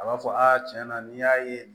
A b'a fɔ aa tiɲɛ na n'i y'a ye